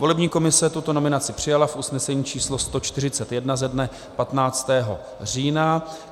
Volební komise tuto nominaci přijala v usnesení číslo 141 ze dne 15. října.